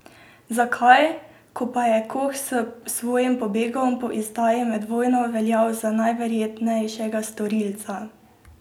Zakaj, ko pa je Koh s svojim pobegom po izdaji med vojno veljal za najverjetnejšega storilca?